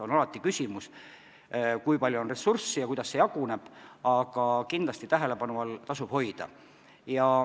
Eks alati on küsimus, kui palju on ressurssi ja kuidas see jagada, aga kindlasti tasub need teemad tähelepanu all hoida.